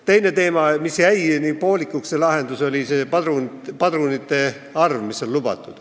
Teine teema, mille lahendus on jäänud poolikuks, on lubatud padrunite arv.